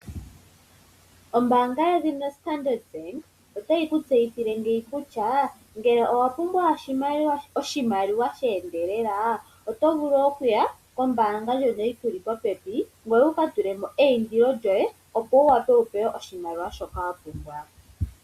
Ombaanga yedhina Standard Bank otayi ku tseyithile ngeyi kutya ngele owa pumbwa oshimaliwa she endelela oto vulu okuya kombaanga ndjono yiku li po pepi, ngoye wuka tule mo eyindilo lyoye, opo ka pewe oshimaliwa shoka wa pumbwa.